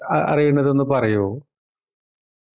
ആ അറിയുന്നത് ഒന്ന് പറയുന്നോ